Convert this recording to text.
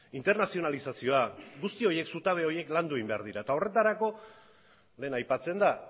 internazionalizazioa guzti horiek zutabe horiek landu egin behar dira eta horretarako lehen aipatzen da